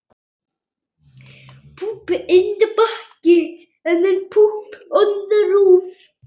Elska þig og sakna!